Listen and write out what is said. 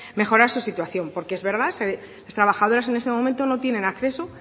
mejorar su situación porque es verdad que las trabajadoras en este momento no tienen acceso